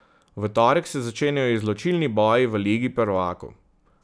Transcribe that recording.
V torek se začenjajo izločilni boji v Ligi prvakov.